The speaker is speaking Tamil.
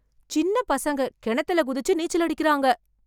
சின்ன பையன்கள் கிணத்துல குதிச்சு நீச்சல் அடிக்கறாங்க.